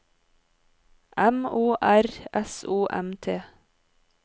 M O R S O M T